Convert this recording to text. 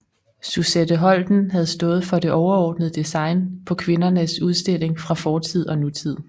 Suzette Holten havde stået for det overordnede design på Kvindernes Udstilling fra Fortid og Nutid